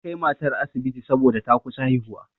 An kai matar asibiti saboda ta kusa haihuwa.